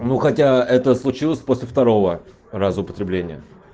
ну хотя это случилось после второго раза употребления